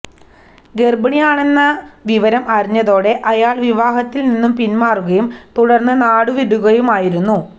ഗര്ഭിണിയാണെന്ന വിവരം അറിഞ്ഞതോടെ അയാള് വിവാഹത്തില് നിന്നും പിന്മാറുകയും തുടര്ന്ന് നാടുവിടുകയുമായിരുന്നു